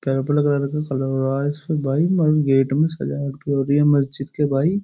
सजावट हो रही है मस्जिद के भाई।